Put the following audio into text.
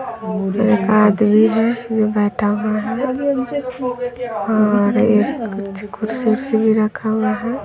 एक आदमी है जो बैठा हुआ है और ये कुछ कुर्सी उर्सी भी रखा हुआ है।